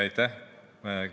Aitäh!